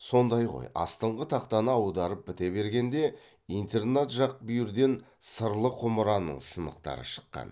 сонда ғой астыңғы тақтаны аударып біте бергенде интернат жақ бүйірден сырлы құмыраның сынықтары шыққан